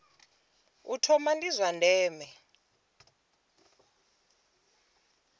u thoma ndi zwa ndeme